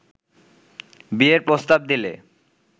বিয়ের প্রস্তাব দিলে